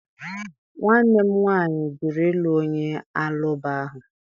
Nwanne m nwaanyị jụrụ ịlụ onye Alaụba ahụ